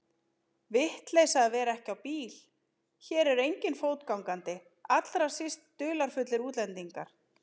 Vitleysa að vera ekki á bíl, hér er enginn fótgangandi, allra síst dularfullir útlendingar.